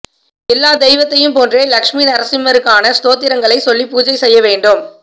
எல்லா தெய்வத்தையும் போன்றே லட்சுமி நரசிம்மருக்கான ஸ்தோத்திரங்களைச் சொல்லி பூஜை செய்ய வேண்டும்